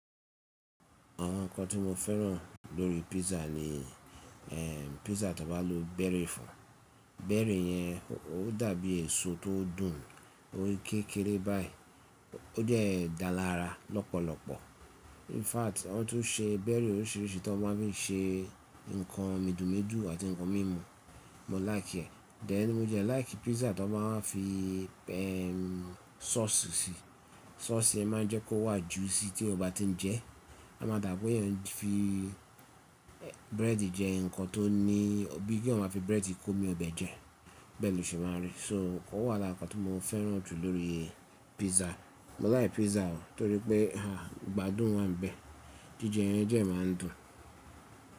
Àwọn nǹkan tí mo fẹ́ràn lórí písà ni ẹ̀ písà tí wọ́n bá lo bẹ́rì fún. Bẹ́rì yẹn ó dàbí èso tó dùn, ó rí kékeré báyìí, ó dẹ́ dára lọ́pọ̀lọpọ̀. In fact àwọn tó n ṣe bẹ́rì oríṣìíríṣìí tí wọ́n ma n fi ṣe nǹkan midùmidù àti nǹkan mímu, mo láìkié. Then mo dẹ́ láì kí písà tí wọ́n má a fi ẹ̀ sauce sí. Sauce yẹn máa n jẹ́ kó wà juicy tí o bá ti n jẹ ẹ́, a máa dàbí bóyá o n fi bírẹ́ẹ̀dì jẹ nǹkan tó ní-- bí i kí ó ma fi bírẹ́ẹ̀dì kó omi ọbẹ̀ jẹ, bẹ́ẹ̀ lọṣe máa n rí. So ó wà lápá tí mo fẹ́ràn jù lórí písà. Mo like písà o torí pé à gbádùn wà níbẹ̀. Jíjẹ yẹn jẹ́ má n dùn.